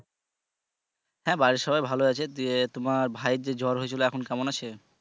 হ্যাঁ বাড়ির সবাই ভালই আছে তুই তোমার ভাইদের জ্বর হয়েছিলো এখন কেমন আছে।